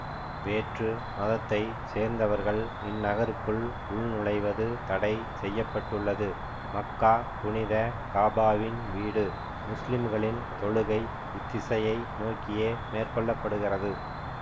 வேற்று மதத்தை சேர்ந்தவர்கள் இந்நகருக்குள் உள் நுழைவது தடை செய்ய பட்டுள்ளது மக்கா புனித காபாவின் வீடு முஸ்லிம்களின் தொழுகை இத்திசையை நோக்கியே மேற்கொள்ள படுகிறது